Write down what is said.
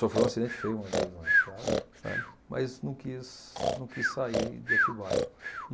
Sofreu um acidente feio uma vez na estrada. Sério? Mas não quis não quis sair de Atibaia.